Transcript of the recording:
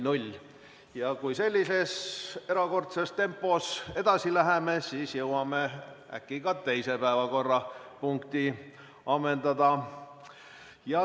Kui me sellises erakordses tempos edasi läheme, siis jõuame äkki ka teise päevakorrapunkti ammendada.